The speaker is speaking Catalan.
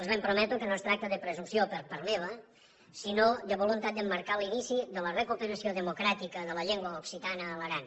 els ben prometo que no es tracta de presumpció per part meva sinó de voluntat d’emmarcar l’inici de la recuperació democràtica de la llengua occitana a l’aran